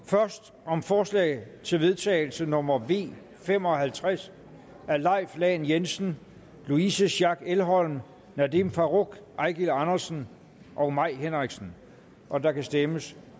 først om forslag til vedtagelse nummer v fem og halvtreds af leif lahn jensen louise schack elholm nadeem farooq eigil andersen og mai henriksen og der kan stemmes